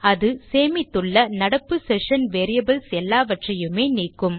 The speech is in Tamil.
அது சேமித்துள்ள நடப்பு செஷன் வேரியபிள்ஸ் எல்லாவற்றையுமே நீக்கும்